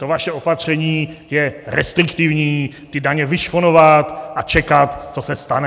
To vaše opatření je restriktivní, ty daně vyšponovat a čekat, co se stane.